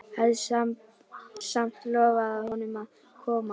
Hafði samt lofað honum að koma.